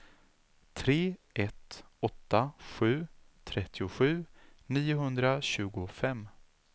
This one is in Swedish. tre ett åtta sju trettiosju niohundratjugofem